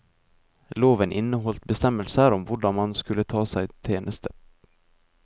Loven inneholdt bestemmelser om hvordan man skulle ta seg tjeneste.